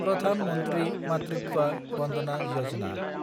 Pradhan Mantri Matritva Vandana Yojana